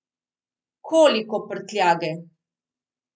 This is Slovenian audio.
Koliko prtljage?